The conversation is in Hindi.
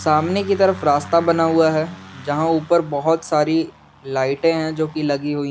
सामने की तरफ रास्ता बना हुआ है जहां ऊपर बहुत सारी लाइटे हैं जोकि लगी हुई।